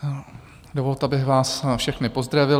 Dovolte, abych vás všechny pozdravil.